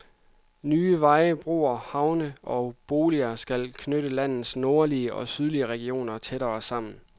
Nye veje, broer, havne og boliger skal knytte landets nordlige og sydlige regioner tættere sammen.